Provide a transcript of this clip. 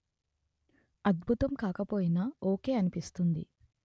అద్బుతం కాకపోయినా ఓకే అనిపిస్తుంది